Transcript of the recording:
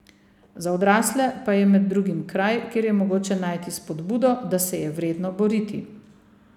Za odrasle pa je med drugim kraj, kjer je mogoče najti spodbudo, da se je vredno boriti.